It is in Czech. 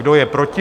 Kdo je proti?